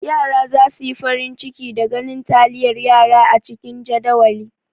Yara za su yi farin ciki da ganin taliyar yara a cikin jadawali.